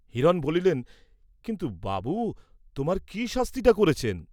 হিরণ বলিলেন, কিন্তু বাবু তোমার কি শাস্তিটা করেছেন?